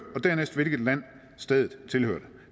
og dernæst hvilket land stedet tilhørte